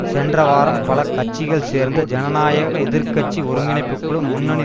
சென்றவாரம் பல கட்சிகள் சேர்ந்த ஜனநாயக எதிர்கட்சி ஒருங்கிணைப்புக்குழு முன்னணி